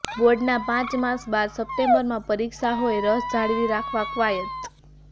બોર્ડના પાંચ માસ બાદ સપ્ટેમ્બરમાં પરીક્ષા હોય રસ જાળવી રાખવા કવાયત